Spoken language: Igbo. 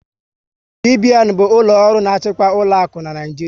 CBN bụ ụlọ ọrụ na-achịkwa ụlọakụ n'Naijiria